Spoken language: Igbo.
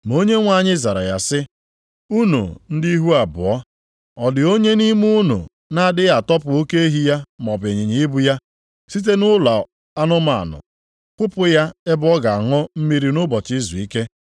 Ma Onyenwe anyị zara ya sị, “Unu ndị ihu abụọ! Ọ dị onye nʼime unu na-adịghị atọpụ oke ehi ya maọbụ ịnyịnya ibu ya, site nʼụlọ anụmanụ, kpụpụ ya ebe ọ ga-aṅụ mmiri nʼụbọchị izuike?